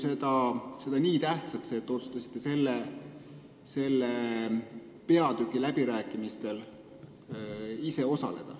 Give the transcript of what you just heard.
Te pidasite seda ju nii tähtsaks, et otsustasite selle peatüki läbirääkimistel ise osaleda.